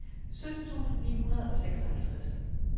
sytten tusind ni hundrede og seksoghalvtreds